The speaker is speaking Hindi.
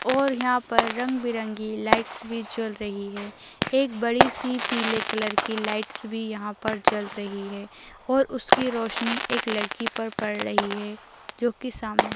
और यहाँ पर रंग बिरंगी लाइट्स भी जल रही है एक बड़ी सी पीले कलर की लाइट्स भी यहाँ पर जल रही है और उसकी रोशनी एक लड़की पर पढ़ रही है जो की सामने --